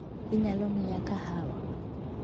Inyalo miya kahawa?